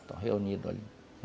Estão reunidos ali.